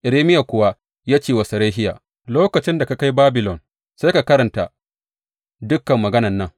Irmiya kuwa ya ce wa Serahiya, Lokacin da ka kai Babilon, sai ka karanta dukan maganan nan.